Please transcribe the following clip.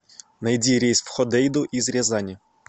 найди рейс в ходейду из рязани